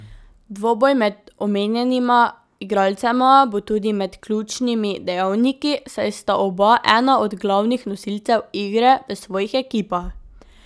Dvoboj med omenjenima igralcema bo tudi med ključnimi dejavniki, saj sta oba ena od glavnih nosilcev igre v svojih ekipah.